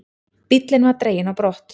Bíllinn var dreginn á brott.